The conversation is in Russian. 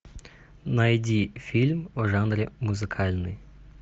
найди фильм в жанре музыкальный